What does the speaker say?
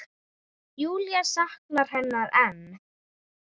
Júlía saknar hennar enn.